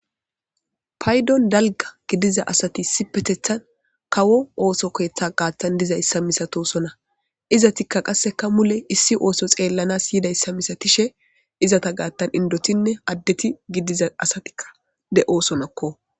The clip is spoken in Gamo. Paydon dalgga gidiza asathi issipetheththan kawo ooso keeththa gaaththan dizayssa misathoosona; izathikka qasseka mule issi ooso xeellanas yidayssa misathishe izatha gaaththan inddothinne addethi gidiza asathikka de7oosona koo.